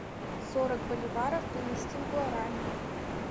сорок боливаров перевести в гуарани